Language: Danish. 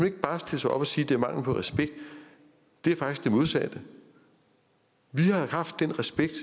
ikke bare stille sig op og sige at det er mangel på respekt det er faktisk det modsatte vi har jo haft den respekt